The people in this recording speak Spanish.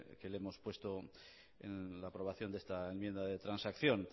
que le hemos puesto en la aprobación de esta enmienda de transacción